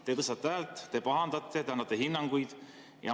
Te tõstate häält, te pahandate, te annate hinnanguid.